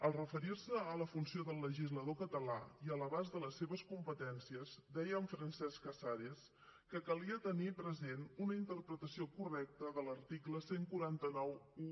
al referir se a la funció del legislador català i a l’abast de les seves competències deia en francesc casares que calia tenir present una interpretació correcta de l’article catorze noranta u